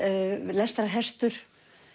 lestrarhestur